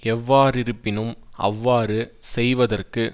எவ்வாறிருப்பினும் அவ்வாறு செய்வதற்கு